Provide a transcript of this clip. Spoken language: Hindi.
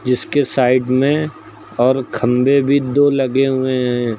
जिसके साइड में और खंभे भी दो लगे हुए हैं।